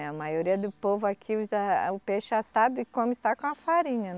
Eh a maioria do povo aqui usa o peixe assado e come só com a farinha.